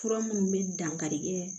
Fura minnu bɛ dankarikɛ